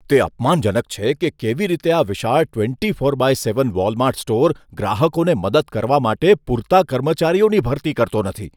તે અપમાનજનક છે કે કેવી રીતે આ વિશાળ twenty four by seven Walmart store ગ્રાહકોને મદદ કરવા માટે પૂરતા કર્મચારીઓની ભરતી કરતો નથી.